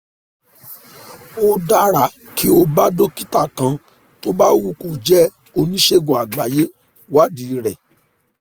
ó dára kí o bá dókítà kan tó bá wù kó jẹ́ oníṣègùn àgbáyé wádìí rẹ̀